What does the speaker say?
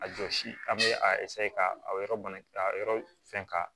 A jɔsi an bɛ a ka yɔrɔ bana a yɔrɔ fɛn ka